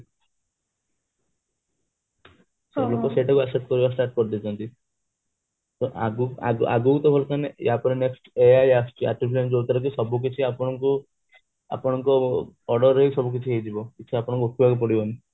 ସବୁ ତ ସେଟା କୁ accept କରିବା start କରିଦେଇଛନ୍ତି ତ ଆଗ ଆଗକୁ ତ ବର୍ତମାନ ଏବେ next ai ଆସୁଛି ଯୋଉତିରେ କି ସବୁକିଛି ଆପଣଙ୍କୁ ଆପଣଙ୍କ order ରେ ହି ସବୁକିଛି ହେଇଯିବ ଆପଣଙ୍କୁ ଉଠିବାକୁ ପଡିବନି